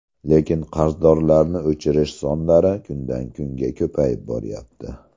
Lekin qarzdorlarni o‘chirish sonlari kundan-kunga ko‘payib boryapti.